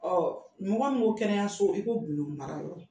mɔgɔ min ko kɛnɛyaso, i ko gundo mara yɔrɔ.